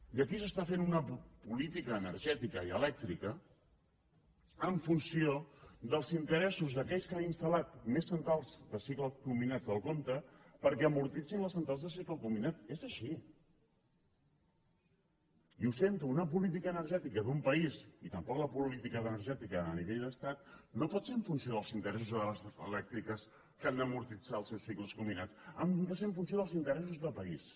i aquí s’està fent una política energètica i elèctrica en funció dels interessos d’aquells que han instal·lat més centrals de cicle combinat del compte perquè amortitzin les centrals de cicle combinat és així i ho sento una política energètica d’un país i tampoc la política energètica a nivell d’estat no pot ser en funció dels interessos de les elèctriques que han d’amortitzar els seus cicles combinats han de ser en funció dels interessos de país